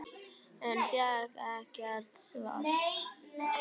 En fékk ekkert svar.